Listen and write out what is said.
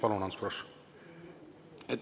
Palun, Ants Frosch!